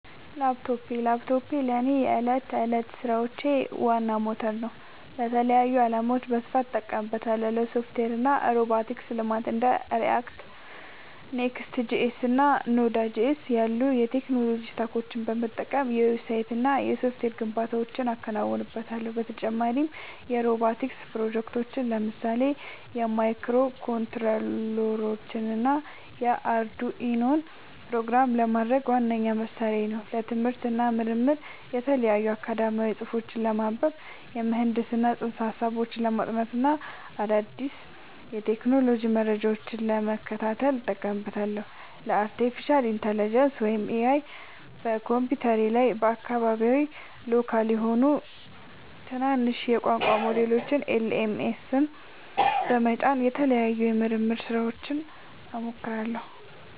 ላፕቶፕ ላፕቶፔ ለእኔ የዕለት ተዕለት ሥራዎቼ ዋና ሞተር ነው። ለተለያዩ ዓላማዎች በስፋት እጠቀምበታለሁ - ለሶፍትዌር እና ሮቦቲክስ ልማት እንደ React፣ Next.js እና Node.js ያሉ የቴክኖሎጂ ስታኮችን በመጠቀም የዌብሳይትና የሶፍትዌር ግንባታዎችን አከናውንበታለሁ። በተጨማሪም የሮቦቲክስ ፕሮጀክቶችን (ለምሳሌ ማይክሮኮንትሮለሮችንና አርዱኢኖን) ፕሮግራም ለማድረግ ዋነኛ መሣሪያዬ ነው። ለትምህርት እና ምርምር የተለያዩ አካዳሚያዊ ጽሑፎችን ለማንበብ፣ የምህንድስና ፅንሰ-ሀሳቦችን ለማጥናት እና አዳዲስ የቴክኖሎጂ መረጃዎችን ለመከታተል እጠቀምበታለሁ። ለአርቲፊሻል ኢንተለጀንስ (AI) በኮምፒውተሬ ላይ አካባቢያዊ (local) የሆኑ ትናንሽ የቋንቋ ሞዴሎችን (LLMs) በመጫን ለተለያዩ የምርምር ሥራዎች እሞክራቸዋለሁ።